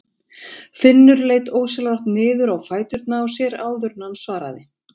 Finnur leit ósjálfrátt niður á fæturna á sér áður en hann svaraði.